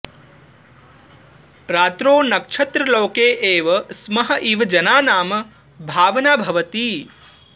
रात्रौ नक्षत्रलोके एव स्मः इव जनानां भावना भवति